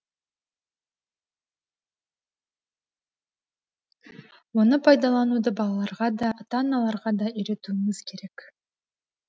оны пайдалануды балаларға да ата аналарға да үйретуіміз керек